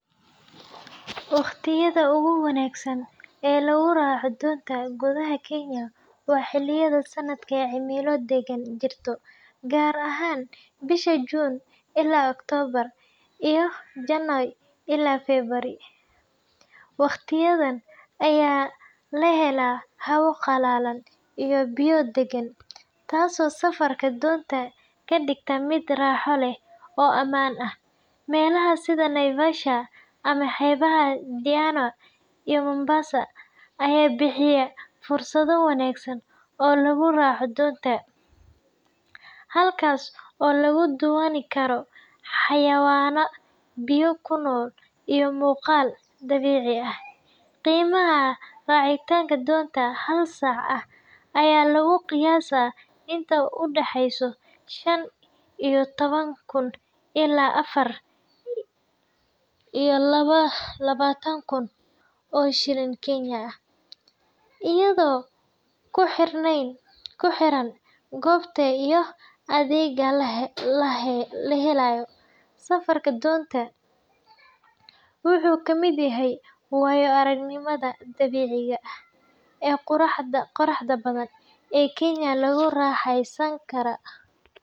Waqtiyada ugu wanaagsan ee lagu raaco doonta gudaha Kenya waa xilliyada sanadka ee cimilo deggan jirto, gaar ahaan bisha Juun ilaa Oktoobar iyo Janaayo ilaa Febraayo. Waqtiyadan ayaa la helaa hawo qalalan iyo biyo deggan, taasoo safarka doonta ka dhigta mid raaxo leh oo ammaan ah. Meelaha sida Naivasha ama xeebaha Diani iyo Mombasa ayaa bixiya fursado wanaagsan oo lagu raaco doonta, halkaas oo lagu daawan karo xayawaan biyo ku nool iyo muuqaal dabiici ah. Qiimaha racitaanka doonta hal saac ah ayaa lagu qiyaasaa inta u dhaxaysa shan iyo toban kun ilaa afar iyo labaatan kun oo shilin Kenyan ah, iyadoo ku xiran goobta iyo adeegga la helayo. Safarka doonta wuxuu ka mid yahay waayo-aragnimada dabiiciga ah ee quruxda badan ee Kenya lagu raaxaysan karo.